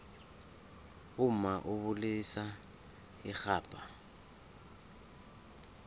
umma ubilisa irhabha